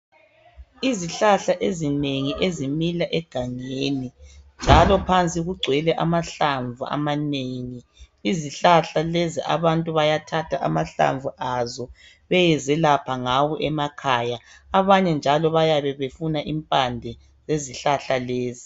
Izihlahla ezinengi ezimila egangeni njalo phandle kugcwele amahlamvu amanengi. Izihlahla lezi abantu bayathatha amahlamvu azo bayezelapha ngawo emakhaya. Abanye njalo bayabe befuna impande zezihlahla lezi.